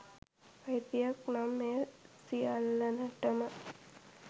අයිතියක් නම් එය සියල්ලනටම